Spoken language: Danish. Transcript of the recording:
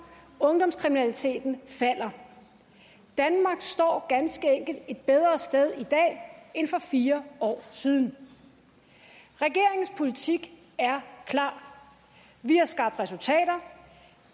ungdomskriminaliteten falder danmark står ganske enkelt et bedre sted i dag end for fire år siden regeringens politik er klar vi har skabt resultater